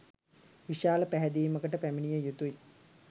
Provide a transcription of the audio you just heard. විශාල පැහැදීමකට පැමිණිය යුතුයි.